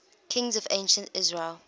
kings of ancient israel